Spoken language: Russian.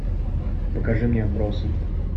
покажи мне отбросы